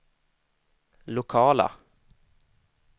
lokala